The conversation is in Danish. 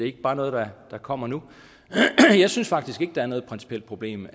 ikke bare noget der kommer nu jeg synes faktisk ikke der er noget principielt problem